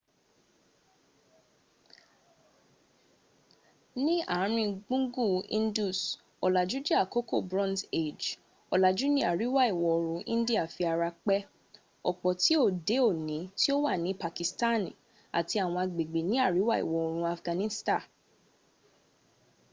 ní àárin gbùngùn indus ọ̀làjú jẹ́ àkókò bronze age ọlàjú ní àríwá-ìwọ̀oòrùn india fi ara pẹ́ ọ̀pọ̀ ti òde òní tí ó wà ní pakistan àti àwọn agbègbè ní aríwá-ìwọ̀oòrùn afghanista